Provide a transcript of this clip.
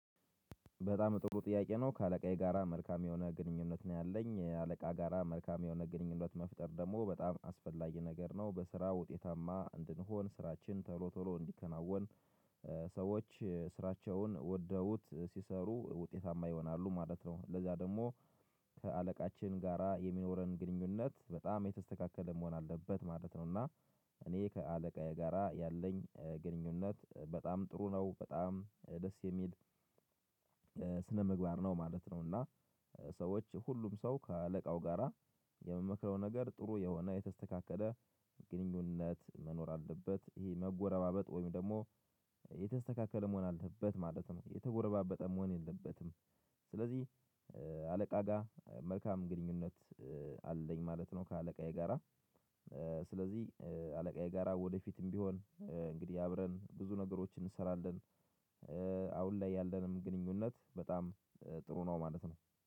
በጣም ጥሩ ጥያቄ ነው ከአለቃዬ ጋራ መልካም የሆነ ግንኙነት ነው ያለኝ አለቃ ጋራ መልካም የሆነ ግንኙነት መፍጠር ደግሞ በጣም አስፈላጊ ነገር ነው በስራ ውጤታማ እንድንሆን ስራችን ቶሎ ቶሎ እንዲከናወን ስራቸውን ወደውት ሲሰሩ ውጤታማ ይሆናሉ ማለት ነው ለዛ ደግሞ ጋራ የሚኖረን ግንኙነት በጣም የተስተካከለ መሆን አለበት ማለት ነው እና እኔ ከአለቃዬ ጋራ ያለኝ ግንኙነት በጣም ጥሩ ነው በጣም ደስ የሚል ነው ማለት ነው እና ሰዎች ሁሉም ሰው ከአለቃው ጋራ የምመክረው ነገር ጥሩ የሆነ የተስተካከለ ግንኙነት መኖር አለበት ይሄ መጎረባበጥ ወይም ደግሞ የተስተካከለ መሆን አለበት ማለት ነው የተጎረባበጠ መሆን የለበትም ስለዚህ አለቃ ጋር መልካም ግንኙነት አለኝ ማለት ነው ከአለቃዬ ጋራ ስለዚህ አለቃዬ ጋራ ወደፊትም ቢሆን እንግዲህ አብረን ብዙ ነገሮችን እንሰራለን አሁን ላይ ያለንም ግንኙነት በጣም ጥሩ ነው ማለት ነው።